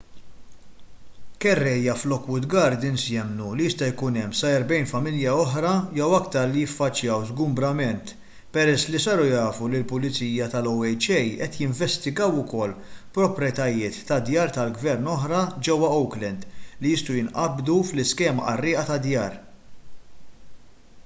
kerrejja f'lockwood gardens jemmnu li jista' jkun hemm sa 40 familja oħra jew iktar li jiffaċċjaw żgumbrament peress li saru jafu li l-pulizija tal-oha qed jinvestigaw ukoll proprjetajiet ta' djar tal-gvern oħra ġewwa oakland li jistgħu jinqabdu fl-iskema qarrieqa tad-djar